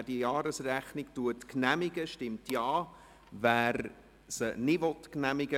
Wer die Jahresrechnung genehmigt, stimmt Ja, wer dies nicht tut, stimmt Nein.